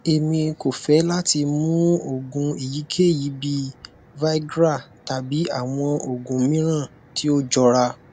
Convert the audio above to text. emi ko fẹ lati mu oogun eyikeyi bii viagra tabi awọn oogun miiran ti o jọra